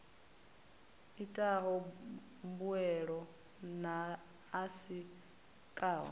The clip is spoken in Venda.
itaho mbuelo na a sikaho